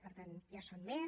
per tant ja en són més